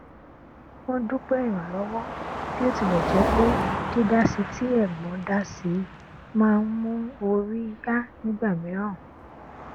wọn dúpẹ ìrànlọwọ bí ó tilẹ jẹ pé dídásí tí ẹgbọn dá si má n mú orí yá nígbà mìíràn